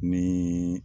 Ni